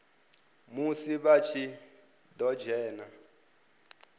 musi vha tshi ḓo dzhena